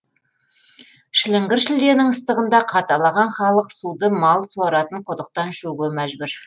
шіліңгір шілденің ыстығында қаталаған халық суды мал суаратын құдықтан ішуге мәжбүр